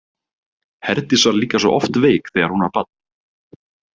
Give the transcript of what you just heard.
Herdís var líka svo oft veik þegar hún var barn.